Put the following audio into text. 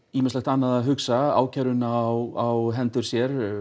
annað að hugsa ákæruna á hendur sér